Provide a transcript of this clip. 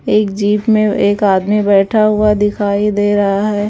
एक जीप में एक आदमी बैठा हुआ दिखाई दे रहा है।